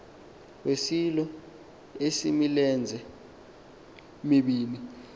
wesilo esimilenze mibini